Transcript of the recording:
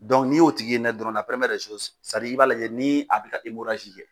n'i y'o tigi ye ɲɛ dɔrɔnna i b'a lajɛ ni a be na kɛ.